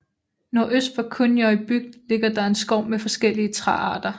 Nordøst for Kunoy bygd ligger der en skov med forskellige træarter